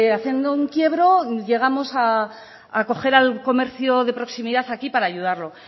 haciendo un quiebro llegamos a coger al comercio de proximidad aquí para ayudarlo